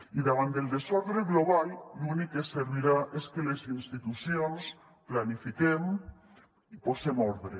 i davant del desordre global l’únic que servirà és que les institucions planifiquem i posem ordre